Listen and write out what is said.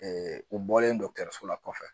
u bɔlen dɔkɔtɔrɔso la kɔfɛ